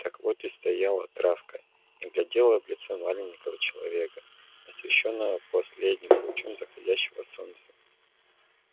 так вот и стояла травка и глядела в лицо маленького человека освещённого последним лучом заходящего солнца